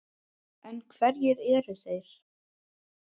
En hverjir eru þeir?